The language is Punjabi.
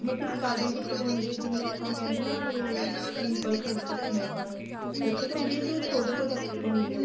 ਮਤਲਬ ਕੀ starting ਕਿੱਥੋ ਤੋ ਹੁੰਦੀ ਏ ਜਿਵੇਂ ਆਪਾਂ ਕਹਿਣੇ ਆ ਨਾ ਵੀ simple suit ਸਿਖਣੇ ਏ ਆਪਾਂ ਨੇ ਉੱਥੇ ਤੋ ਹੁੰਦੀ ਏ ਜਾ ਛੋਟੋ product ਹੁੰਦੀ ਏ